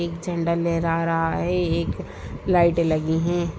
एक झंडा लहरा रहा है एक लाइट लगी है।